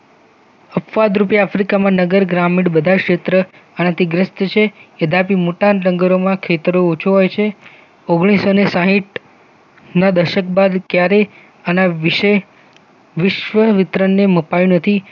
અપવાદરૂપે આફ્રિકામાં નગર ગ્રામીણ બધા ક્ષેત્ર આનાથી ગ્રસ્ત છે. ખિતાબી મોટા જંગલોમાં ખેતરો ઓછો હોય છે ઓગણીસૌ ને સાહિટ ના દશક બાદ ક્યારેય આના વિશે. વિશ્વ વિતરણને મપાયો નથી